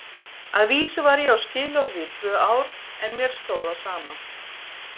Að vísu var ég á skilorði í tvö ár en mér stóð á sama.